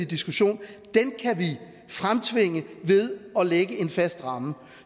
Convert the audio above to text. diskussion kan vi fremtvinge ved at lægge en fast ramme